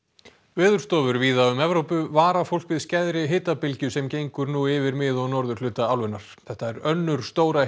veðurstofur víða um Evrópu vara fólk við skæðri hitabylgju sem gengur nú yfir mið og norðurhluta álfunnar þetta er önnur stóra